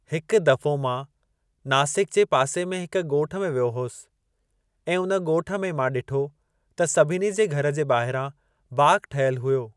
हिकु दफ़ो मां नासिक जे पासे में हिक ॻोठ में वियो होसि ऐं उन ॻोठु में मां ॾिठो त सभिनी जे घर जे ॿाहिरां बाग़ ठहियल हुयो।